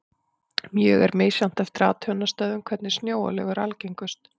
Mjög er misjafnt eftir athugunarstöðvum hvernig snjóalög eru algengust.